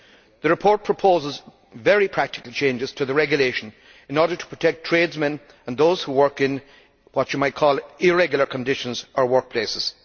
The report proposes very practical changes to the Regulation in order to protect tradesmen and those who work in what you might call irregular' conditions or workplaces.